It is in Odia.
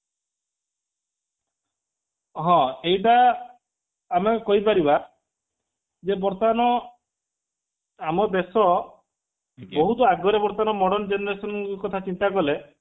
ହଁ ଏଇବା ଆମେ କହି ପାରିବା ଯେ ବର୍ତ୍ତମାନ ଆମ ଦେଶ ବହୁତ ଆଗରେ ବର୍ତ୍ତମାନ modern generation କଥା ଚିନ୍ତା କଲେ